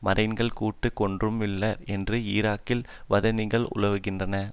மரைன்கள் சுட்டு கொன்றும் உள்ளனர் என்றும் ஈராக்கில் வதந்திகளும் உலவுகின்றன